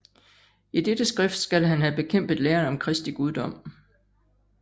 I dette skrift skal han have bekæmpet læren om Kristi guddom